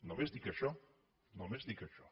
només dic això només dic això